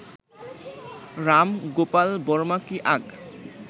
রাম গোপাল বর্মা কি আগ